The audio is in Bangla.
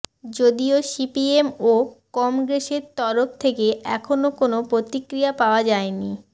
যদিও সিপিএম ও কমগ্রেসের তরফ থেকে এখনও কোনও প্রতিক্রিয়া পাওয়া যায়নি